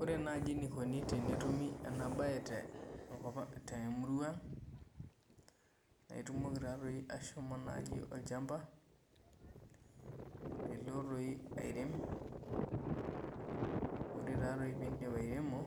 Ore nai enikuni tenetumi enabae tenkopang temurua aang na itumoki ashomo olchamba nilo airem ore pindip airemo